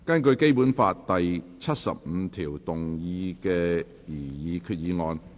根據《基本法》第七十五條動議的擬議決議案。